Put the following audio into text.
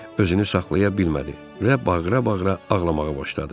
Özünü saxlaya bilmədi və bağıra-bağıra ağlamağa başladı.